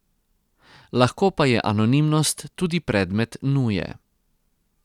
Lahko pa je anonimnost tudi predmet nuje.